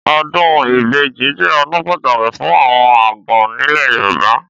Ọ̀dún ìbẹjí jẹ ọ̀dún pàtàkí fún àwon àgàn nile yorùbá.